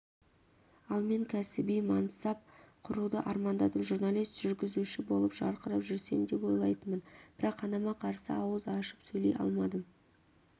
ал мен кәсіби мансап құруды армандадым журналист жүргізуші болып жарқырап жүрсем деп ойлайтынмын бірақ анама қарсы ауыз ашып сөйлей алмадым